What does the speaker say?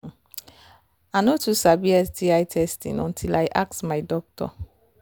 hmmm i no too sabi sti testing until i ask my doctor